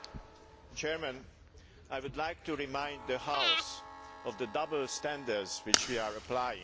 Mr President, I would like to remind the House of the double standards which we are applying.